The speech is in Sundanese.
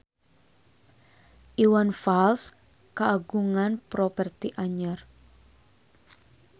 Iwan Fals kagungan properti anyar